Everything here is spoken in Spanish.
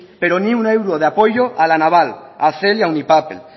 pero ni un euro de apoyo a la naval a cel y a unipapel